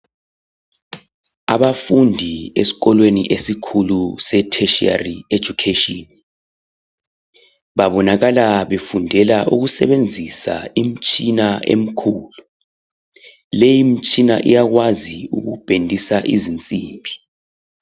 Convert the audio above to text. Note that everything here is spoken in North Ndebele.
Abafundi esikolweni esikhulu se tertiary education, babonakala befundela ukusebenzisa imitshina emkhulu. Leyi mtshina iyakwazi ukubhendisa izimsimbi.